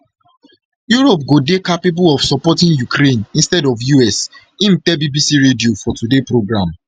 europe go dey capable of supporting ukraine instead of us im tell bbc radio four today programme